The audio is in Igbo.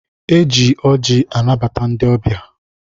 E ji ọjị anabata ndị ọbịa.